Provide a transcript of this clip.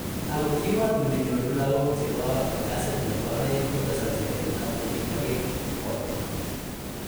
Ako kiwato ne nyoru lakoko che bo ngasit ne bo aeng ko tesaksei eng taman kemakee bukol.